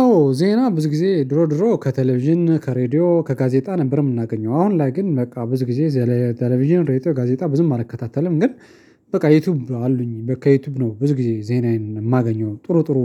አዎ ዜና ብዙ ጊዜ ድሮ ድሮ ከቴሌቪዥን ከሬዲዮ ከጋዜጣ ነበር የምናገኘው አሁን ላይ ግን በቃ ብዙ ጊዜ የቴሌቪዥን ሬቶ ጋዜጣ ብዙም አልከታተለም ግን። በቃ ዩቲዩብ አሉኝ በቃ ዩቲዩብ ነው ብዙ ጊዜ ዜናዬን የማገኘው ጥሩ ጥሩ